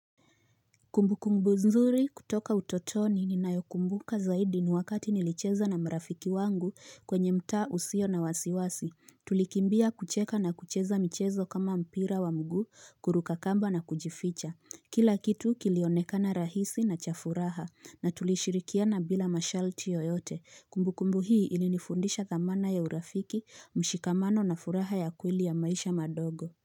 Kumbukumbu nzuri kutoka utotoni ninayokumbuka zaidi ni wakati nilicheza na marafiki wangu kwenye mtaa usiyo na wasiwasi, tulikimbia kucheka na kucheza mchezo kama mpira wa mguu kuruka kamba na kujificha, kila kitu kilionekana rahisi na cha furaha, na tulishirikiana bila masharti yoyote, kumbukumbu hii inanifundisha dhamana ya urafiki, mshikamano na furaha ya kweli ya maisha madogo.